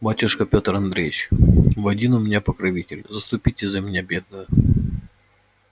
батюшка пётр андреич вы один у меня покровитель заступитесь за меня бедную